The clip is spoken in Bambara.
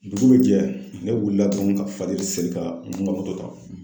Dugu bi jɛ ne wulila dɔrɔn ka fajiri seli ka n ka ta